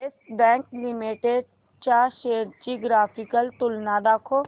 yes Bank Limited च्या shares ची graphical तुलना दाखव